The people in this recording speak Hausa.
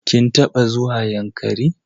Kin taɓa zuwa Yankari?